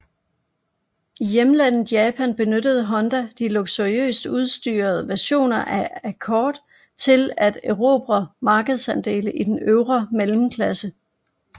I hjemlandet Japan benyttede Honda de luksuriøst udstyrede versioner af Accord til at erobre markedsandele i den øvre mellemklasse